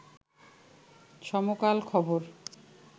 সমকাল খবর